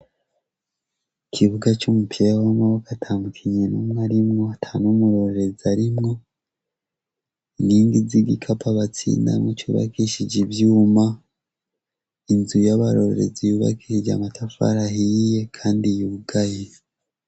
Ikibuga cumupira wamaboko atamukinyi numwe arimwo atanumurorerezi arimwo inkigi zigikapo batsindamwo cubakishijwe ivyuma inzu yabarorerezi yubakishijwe amatafari ahiye kandi yugaye